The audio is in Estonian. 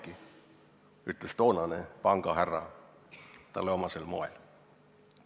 Nii ütles toonane pangahärra talle omasel moel.